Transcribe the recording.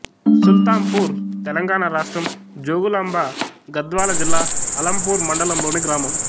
సుల్తాంపూర్ తెలంగాణ రాష్ట్రం జోగులాంబ గద్వాల జిల్లా అలంపూర్ మండలంలోని గ్రామం